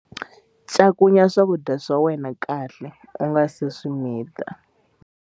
Cakunya swakudya swa wena kahle u nga si swi mita.